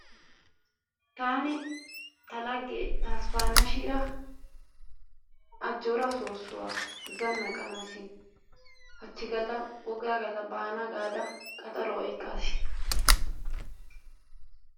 Taani ta laggee tasfaanashinnara ajjoora soossuwaa zanaqanaassi haachchi gaalla woggaa gallaasi baana gaada qaxaruwaa oyqqaas.